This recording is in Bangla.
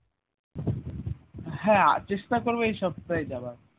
হ্যাঁ চেষ্টা করবো এই সপ্তাহে যাবার